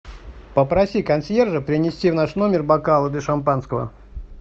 попроси консьержа принести в наш номер бокалы для шампанского